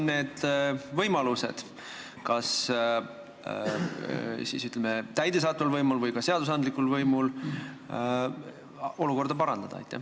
Millised siis on kas täidesaatva võimu või ka seadusandliku võimu võimalused olukorda parandada?